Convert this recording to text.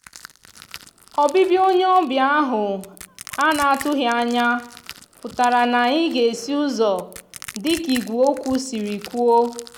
òbibia onye òbia ahú ana atúghianya pútara na anyi ga esi úzò dika igwe okwu siri kwuo.